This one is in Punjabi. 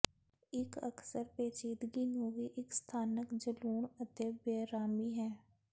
ਇੱਕ ਅਕਸਰ ਪੇਚੀਦਗੀ ਨੂੰ ਵੀ ਇਕ ਸਥਾਨਕ ਜਲੂਣ ਅਤੇ ਬੇਅਰਾਮੀ ਹੈ